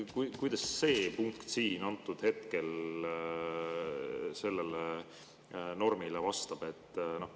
Kuidas see punkt siin hetkel sellele normile vastab?